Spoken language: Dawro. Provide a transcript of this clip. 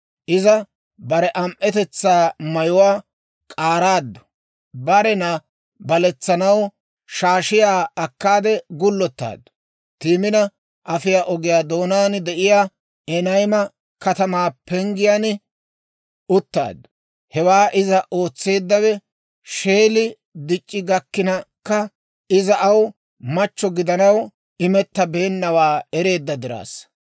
Iza bare am"etetsaa mayuwaa k'aaraaddu; barena baletsanaw shaashiyaa akkaade gullottaaddu. Timina afiyaa ogiyaa doonaan de'iyaa Enayma katamaa penggiyaan uttaaddu. Hewaa iza ootseeddawe, Sheeli dic'c'i gakkinkka iza aw machchatto gidanaw imettabeennawaa ereedda diraassa.